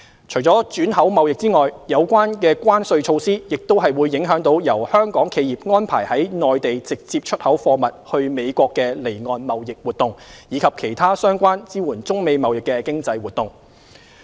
除轉口貿易外，有關關稅措施亦影響由香港企業安排由內地直接出口貨物往美國的離岸貿易活動，以及其他相關支援中美貿易的經濟活動。